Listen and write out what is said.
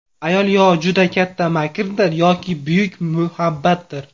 Ayol yo juda katta makrdir yoki buyuk muhabbatdir!